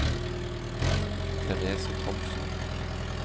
Therese Thomsen